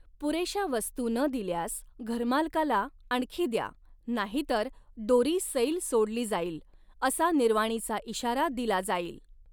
पुरेशा वस्तू न दिल्यास घरमालकाला, आणखी द्या नाहीतर दोरी सैल सोडली जाईल, असा निर्वाणीचा इशारा दिला जाईल.